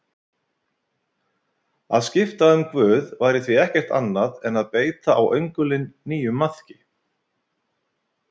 Að skipta um guð væri því ekkert annað en að beita á öngulinn nýjum maðki.